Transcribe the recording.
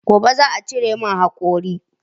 Gobe za'a cire min haƙori